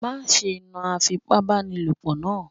Má ṣe náà Afipábánilòpọ̀ naa.